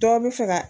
Dɔ bɛ fɛ ka